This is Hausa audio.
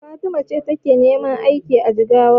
Fatima ce take neman aiki a Jigawa.